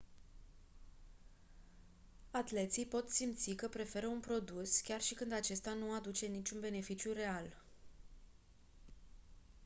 atleții pot simți că preferă un produs chiar și când acesta nu aduce niciun beneficiu real